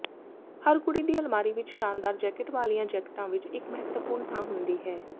ਹਰ ਕੁੜੀ ਦੀ ਅਲਮਾਰੀ ਵਿੱਚ ਸ਼ਾਨਦਾਰ ਜੈਕਟ ਵਾਲੀਆਂ ਜੈਕਟਾਂ ਵਿੱਚ ਇੱਕ ਮਹੱਤਵਪੂਰਣ ਥਾਂ ਹੁੰਦੀ ਹੈ